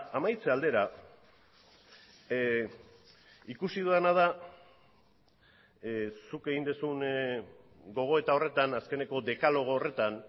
amaitze aldera ikusi dudana da zuk egin duzun gogoeta horretan azkeneko dekalogo horretan